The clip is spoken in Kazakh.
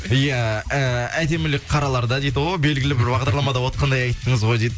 иә ы әдемілік қараларда дейді о белгілі бір бағдарламада отырғандай айттыңыз ғой дейді